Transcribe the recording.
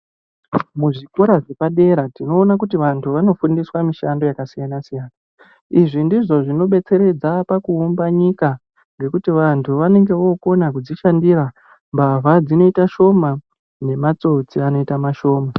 Muzvikora zvepadera tinoona kuti vantu vanofundiswa mishando yakasiyana siyana izvi ndizvo zvinodetseredza pakuumba nyika ngekuti vantu vanenge vookona kudzishandira mbavha dzinoita shoma nematsotsi anoita mashoma.